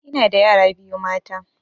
Ina da yara biyu mata